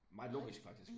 Meget logisk faktisk